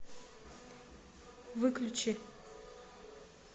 выключи